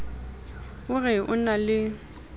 o re o na le